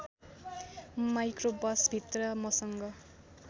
micro बसभित्र मसँग